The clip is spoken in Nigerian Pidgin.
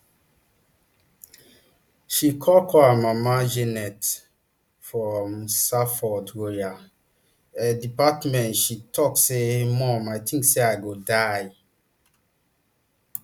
she call call her mama janet from salford royal ae department she tok say mum i tink say i go die